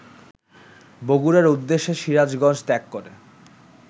বগুড়ার উদ্দেশে সিরাজগঞ্জ ত্যাগ করে